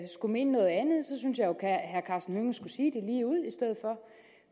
herre karsten hønge skulle sige